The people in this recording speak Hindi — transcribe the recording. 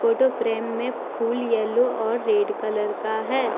फोटो फ्रेम में फूल येलो और रेड कलर का है।